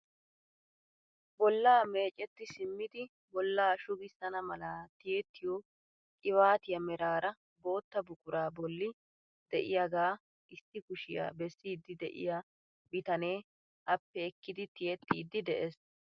Bollaa mecetti simmidi bollaa shugissana mala tiyettiyoo qibatiyaa meraara bootta buquraa bolli de'iyaaga issi kushiyaa bessiidi de'iyaa bitanee appe ekkidi tiyettidi de'ees.